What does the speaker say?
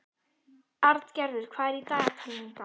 Arngerður, hvað er í dagatalinu í dag?